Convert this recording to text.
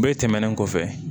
Bɛɛ tɛmɛnen kɔfɛ